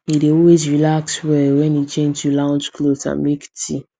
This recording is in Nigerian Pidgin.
he dey always relax well when e change to lounge clothes and make tea